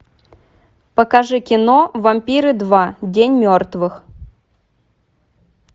покажи кино вампиры два день мертвых